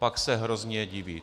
Pak se hrozně diví.